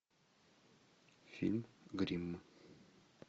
фильм гримм